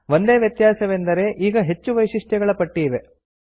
ಒಂದೇ ವ್ಯತ್ಯಾಸವೆಂದರೆ ಈಗ ಹೆಚ್ಚು ವೈಶಿಷ್ಟ್ಯಗಳ ಪಟ್ಟಿ ಇವೆ